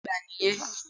Bẹ́ẹ̀ni Ògá àgbà nì yen